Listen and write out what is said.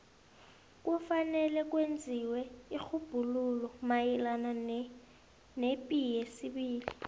kufanele kwenziwe irhubhululo mayelana nepi yesibili